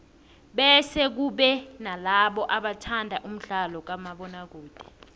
bese kube nalabo abathanda umdlalo kamabona kude